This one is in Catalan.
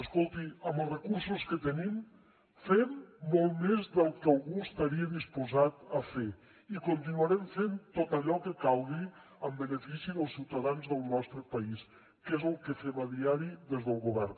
escolti amb els recursos que tenim fem molt més del que algú estaria disposat a fer i continuarem fent tot allò que calgui en benefici dels ciutadans del nostre país que és el que fem a diari des del govern